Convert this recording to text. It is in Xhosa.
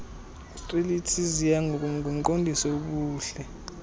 strelitzia ngumqondiso wobuhle